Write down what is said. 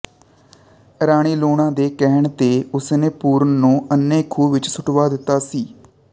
ਰਾਣੀ ਲੂਣਾ ਦੇ ਕਹਿਣ ਤੇ ਉਸ ਨੇ ਪੂਰਨ ਨੂੰ ਅੰਨ੍ਹੇ ਖੂਹ ਵਿੱਚ ਸੁੱਟਵਾ ਦਿੱਤਾ ਸੀ